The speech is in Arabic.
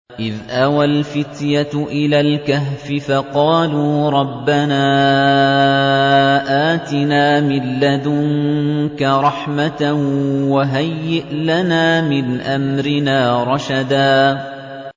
إِذْ أَوَى الْفِتْيَةُ إِلَى الْكَهْفِ فَقَالُوا رَبَّنَا آتِنَا مِن لَّدُنكَ رَحْمَةً وَهَيِّئْ لَنَا مِنْ أَمْرِنَا رَشَدًا